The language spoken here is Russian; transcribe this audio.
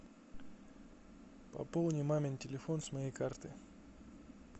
пополни мамин телефон с моей карты